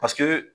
Paseke